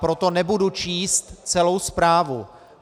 Proto nebudu číst celou zprávu.